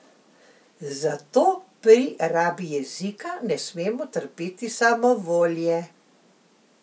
Zato pri rabi jezika ne smemo trpeti samovolje.